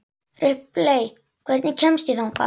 Ripley, hvernig kemst ég þangað?